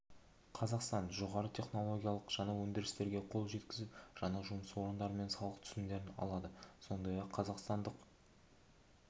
қазақстан жоғары технологиялық жаңа өндірістерге қол жеткізіп жаңа жұмыс орындары мен салық түсімдерін алады сондай-ақ қазақстандық